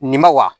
Nin ma wa